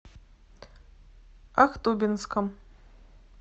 ахтубинском